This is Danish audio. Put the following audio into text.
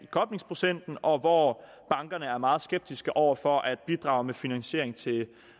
koblingsprocent og hvor bankerne er meget skeptiske over for at bidrage med finansiering til